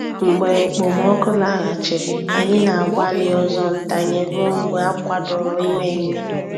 Mgbe okpomọkụ laghachiri, anyị na-agbalị ọzọ ntanye ruo mgbe akwadoro ime ime.